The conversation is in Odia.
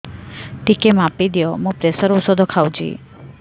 ଟିକେ ମାପିଦିଅ ମୁଁ ପ୍ରେସର ଔଷଧ ଖାଉଚି